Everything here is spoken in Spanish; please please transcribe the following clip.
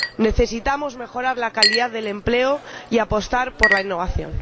Necesitamos mejorar la calidad del empleo y apostar por la innovación.